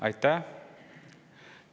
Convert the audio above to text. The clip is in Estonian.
Aitäh!